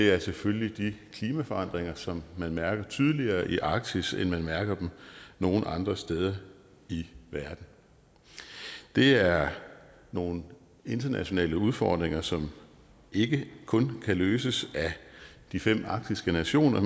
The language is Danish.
er selvfølgelig de klimaforandringer som man mærker tydeligere i arktis end man mærker dem nogen andre steder i verden det er nogle internationale udfordringer som ikke kun kan løses af de fem arktiske nationer